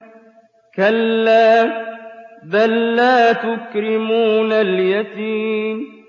كَلَّا ۖ بَل لَّا تُكْرِمُونَ الْيَتِيمَ